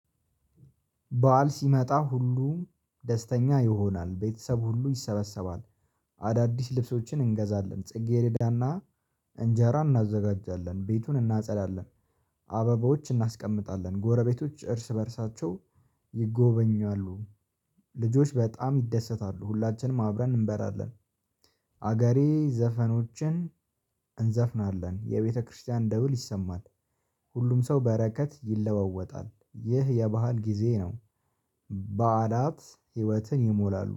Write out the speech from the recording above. በዓል ሲመጣ ሁሉ ደስተኛ ይሆናል ቤተሰብ ሁሉ ይሰበሰባል። አዳዲስ ልብሶችን እንገዛለን ጽጌረዳና እንጀራ እናዘጋጃለን ቤቱን እናጸዳለን። አበባዎች እናስቀምጣለን ጎረቤቶች እርስ በእርሳቸው ይጎበኛሉ። ልጆች በጣም ይደሰታሉ ሁላችንም አብረን እንበላለን። አገሬ ዘፈኖችን እንዘፍናለን የቤተክርስቲያን ደውል ይሰማል። ሁሉም ሰው በረከት ይለዋወጣል ይህ የባህል ጊዜ ነው። በዓላት ህይወትን ይሞላሉ